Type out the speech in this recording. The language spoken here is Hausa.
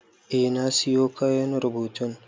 Eh na siyo kayan rubutun.